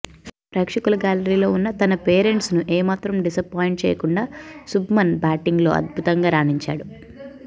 ప్రేక్షకుల గ్యాలరీలో ఉన్న తన పేరెంట్స్ను ఏమాత్రం డిసాపాయింట్ చేయకుండా శుబ్మన్ బ్యాటింగ్లో అద్భుతంగా రాణించాడు